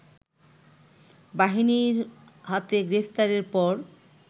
বাহিনীর হাতে গ্রেফতারের পর